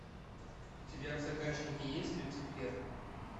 у тебя в загашнике есть люцифер